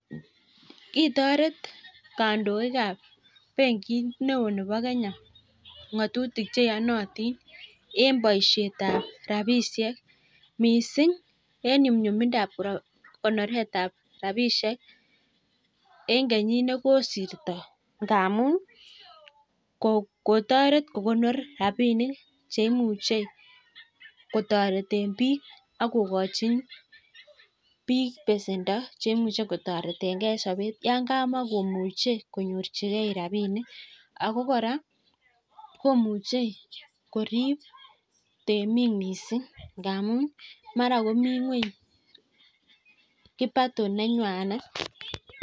Kitoret kandoik ab benkit neo nebo Kenya ng'atutik che iyonotin en boisiet ab rabishek mising en nyumnyumindab konoret ab rabishek en kenyit nekosirto. Ngamun kotoret kokonor rabinik che imuche kotreten biik ak kogochi biik besendo cheimuche kotoretenge en soobet yan kamakomuche konyorjie rabinik. Ago kora komuche korib temik mising ngamun mara komi ngweny kipato nenywanet.